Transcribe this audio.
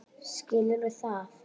Skilurðu það?